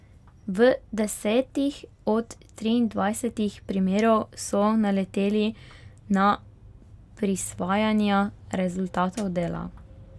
V desetih od triindvajsetih primerov so naleteli na prisvajanja rezultatov dela.